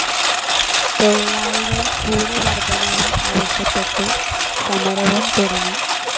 തൊഴിലാളികൾ കൂലി വർദ്ധനവ് ആവശ്യപ്പെട്ട് സമരവും തുടങ്ങി.